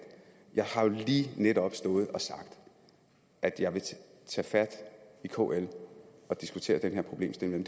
jeg har jo lige netop stået og sagt at jeg vil tage fat i kl og diskutere den her problemstilling